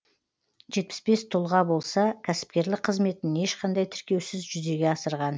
жетпіс бес тұлға болса кәсіпкерлік қызметін ешқандай тіркеусіз жүзеге асырған